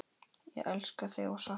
Ég elska þig og sakna.